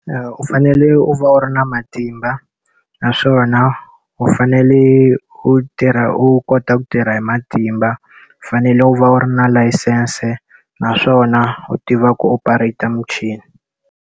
U fanele u va u ri na matimba, naswona u fanele u tirha u kota ku tirha hi matimba, u fanele u va u ri na layisense naswona u tiva ku u operate-a muchini..